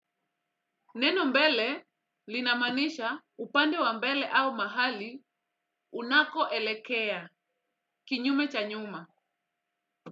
Neno mbele linamaanisha upande wa mbele au mahali unako elekea kinyume cha nyuma.